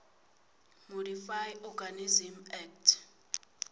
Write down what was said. modified organisms act